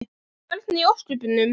Hvernig í ósköpunum?